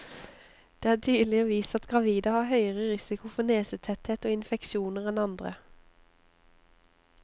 Det er tidligere vist at gravide har høyere risiko for nesetetthet og infeksjoner enn andre.